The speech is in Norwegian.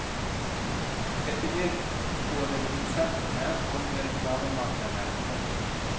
Dette vet både produsentene og reklamemakerne. punktum